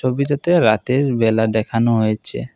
ছবিটাতে রাতের বেলা দেখানো হয়েছে।